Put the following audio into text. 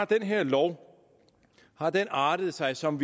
den her lov har artet sig som